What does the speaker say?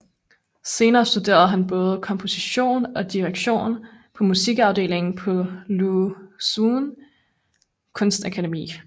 Senere studerede han både komposition og direktion på Musikafdelingen på Lu Xun Kunstakademi